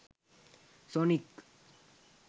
sonic